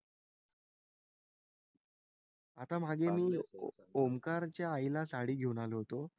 आता मागे मी ओंकारच्या आईला साडी घेऊन आलो होतो.